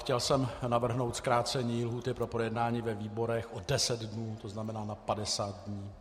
Chtěl jsem navrhnout zkrácení lhůty pro projednání ve výborech o 10 dnů, to znamená na 50 dní.